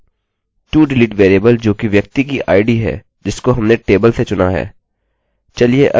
todelete variable जोकि व्यक्ति की id है जिसको हमने टेबल से चुना है